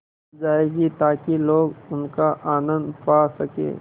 जाएगी ताकि लोग उनका आनन्द पा सकें